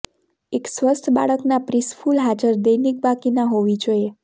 એક સ્વસ્થ બાળકના પ્રિસ્કુલ હાજર દૈનિક બાકીના હોવી જોઈએ